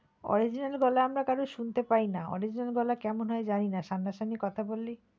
Original গলা আমরা কারো শুনতে পাই না original গলা কেমন হয় জানিনা সামনা সামনি কথা বললে,